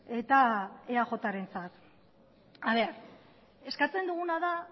eta eajrentzat eskatzen duguna da